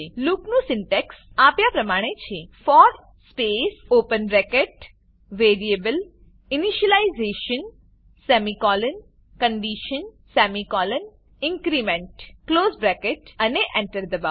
લૂપનું સિન્ટેક્સ આપ્યા પ્રમાણે છે for space open bracket variable initialization semicolon condition semicolon increment close bracket અને Enter એન્ટર દબાવો